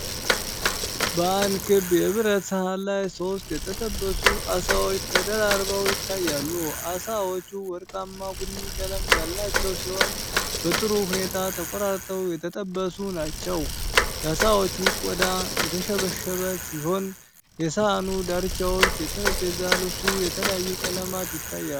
በአንድ ክብ የብረት ሰሃን ላይ ሦስት የተጠበሱ ዓሳዎች ተደራርበው ይታያሉ። ዓሳዎቹ ወርቃማ ቡኒ ቀለም ያላቸው ሲሆን፣ በጥሩ ሁኔታ ተቆራርጠው የተጠበሱ ናቸው። የዓሳዎቹ ቆዳ የተሸበሸበ ሲሆን፣ የሰሃኑ ዳርቻዎችና የጠረጴዛ ልብሱ የተለያዩ ቀለማት ይታያሉ።